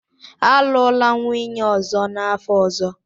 Alụla nwunye ọzọ n'afọ ọzọ!